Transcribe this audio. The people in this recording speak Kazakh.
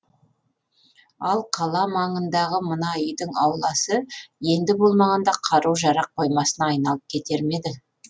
ал қала маңындағы мына үйдің ауласы енді болмағанда қару жарақ қоймасына айналып кетер ме еді